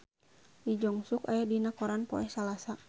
Lee Jeong Suk aya dina koran poe Salasa